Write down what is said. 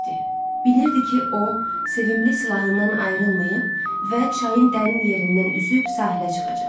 Biliridi ki, o, sevimli silahından ayrılmayıb və çayın dərin yerindən üzüb sahilə çıxacaq.